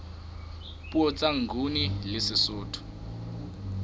puo tsa nguni le sesotho